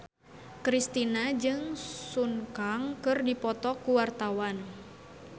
Kristina jeung Sun Kang keur dipoto ku wartawan